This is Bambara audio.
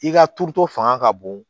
I ka turuto fanga ka bon